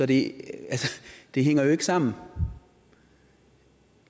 det det hænger jo ikke sammen